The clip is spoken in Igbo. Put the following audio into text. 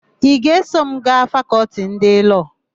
Ị ga-eso m gaa Fakọltị ndị Lọọ?